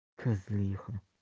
козлиха